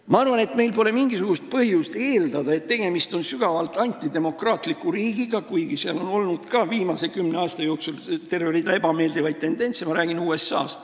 Ma arvan, et meil pole mingisugust põhjust eeldada, et USA näol on tegemist sügavalt antidemokraatliku riigiga, kuigi seal on olnud ka viimase kümne aasta jooksul terve rida ebameeldivaid tendentse.